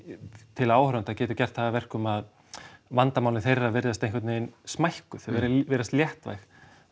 til áhorfenda getur gert það að verkum að vandamálin þeirra virðast einhvern veginn smækkuð þau virðast léttvæg